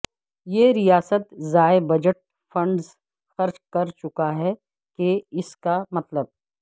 یہ ریاست ضائع بجٹ فنڈز خرچ کر چکا ہے کہ اس کا مطلب